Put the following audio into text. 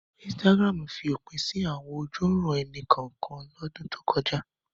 Instagram fi òpin sí àwọn ojúuran-ẹni kọ̀ọ̀kan lọ́dún tó kọjá.